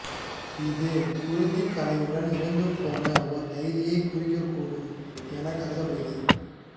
இது குருதிக் கறையுடன் இறந்துபோன ஒரு கைதியைக் குறிக்கக்கூடும் எனக் கருதப்படுகிறது